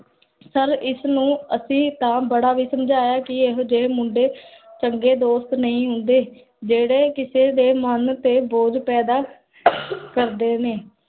sir ਇਸਨੁ, ਅਸੀਂ ਤਾਂ ਬੜਾ ਹੀ ਸਮਝਾਇਆ ਕੀ, ਏਹੋ ਜੇਹੇ ਮੁੰਡੇ, ਚੰਗੇ ਦੋਸਤ ਨਹੀ ਹੁੰਦੇ ਜੇਹੜੇ ਕਿਸੇ ਦੇ ਮਨ ਤੇ ਬੋਝ ਪੈਦਾ ਕਰਦੇ ਨੇ